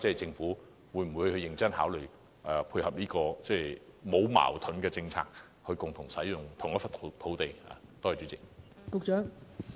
政府會否認真考慮這個沒有矛盾的政策，令不同活動可以共同使用同一個場地呢？